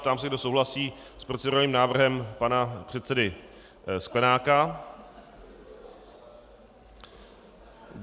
Ptám se, kdo souhlasí s procedurálním návrhem pana předsedy Sklenáka.